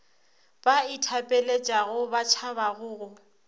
ba ithapeletšago ba tšhabago go